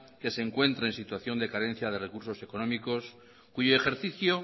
que se encuentra en situación de carencia de recursos económicos cuyo ejercicio